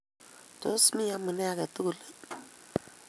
Tos mi amune age tugul ii?